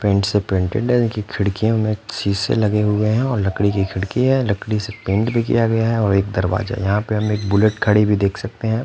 Paint से painted इनकी खिड़कियों में शीसे लगे हुए हैं और लकड़ी की खिड़की है लकड़ी से पेंट भी किया गया है और एक दरवाजा यहाँ पे एक बुलेट खड़ी हुई देख सकते हैं।